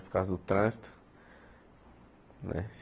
Por causa do trânsito né.